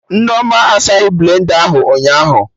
Nneoma asaghị blenda ahụ ụnyaahụ